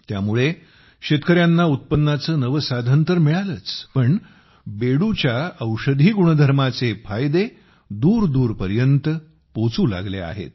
त्यामुळे शेतकऱ्यांना उत्पन्नाचे नवे साधन तर मिळालेच पण बेडूच्या औषधी गुणधर्माचे फायदे दूरदूरपर्यंत पोहोचू लागले आहेत